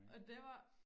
Og det var